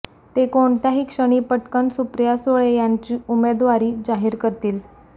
ते कोणत्याही क्षणी पटकन सुप्रिया सुळे यांची उमेदवारी जाहीर करतील